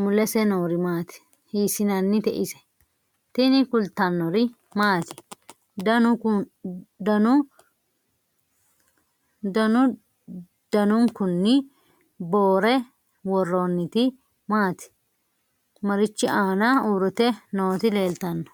mulese noori maati ? hiissinannite ise ? tini kultannori maati? Dannu danunkunni boore woroonnitti maatti? marichi aanna uuritte nootti leelittanno?